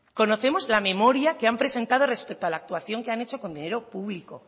conocemos la memoria que han presentado respecto a la actuación que han hecho con dinero público